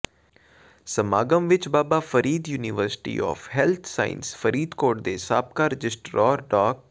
ਸਮਾਗਮ ਵਿੱਚ Baba Farid university of health sciences Faridkot ਦੇ ਸਾਬਕਾ ਰਜਿਸਟਰਾਰ ਡਾ